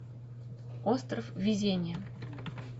остров везения